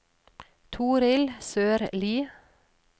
Torild Sørlie